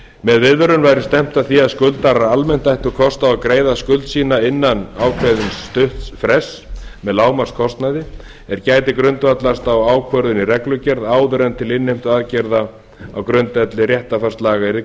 með viðvörun væri stefnt að því að skuldarar almennt ættu kost á að greiða skuld sína innan ákveðins stutts frests með lágmarkskostnaði er gæti grundvallast á ákvörðun í reglugerð áður en til innheimtuaðgerða á grundvelli réttarfarslaga yrði